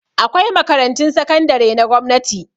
Akwai makarantun sakandare na gwamnati